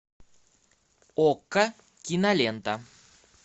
окко кинолента